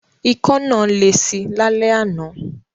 Ikọ́ náà lesi lálẹ́ àná.